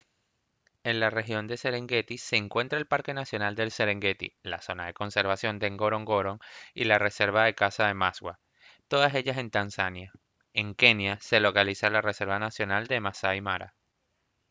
en la región de serengeti se encuentra el parque nacional del serengeti la zona de conservación de ngorongoro y la reserva de caza maswa todas ellas en tanzania en kenia se localiza la reserva nacional massai mara